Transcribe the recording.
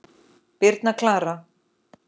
Birna Klara.